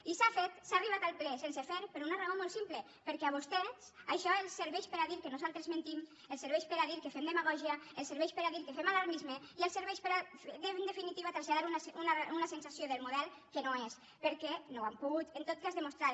i s’ha arribat al ple sense fer per una raó molt simple perquè a vostès això els serveix per a dir que nosaltres mentim els serveix per a dir que fem demagògia els serveix per a dir que fem alarmisme i els serveix per a en definitiva traslladar una sensació del model que no és perquè no ho han pogut en tot cas demostrar